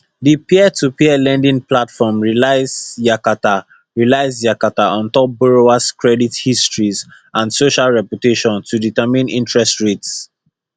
di peertopeer lending platform relies yakata relies yakata on top borrowers credit histories and social reputation to determine interest rates